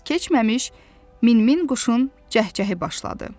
Az keçməmiş, min-min quşun cəhcəhi başladı.